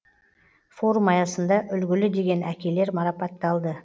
форум аясында үлгілі деген әкелер марапатталды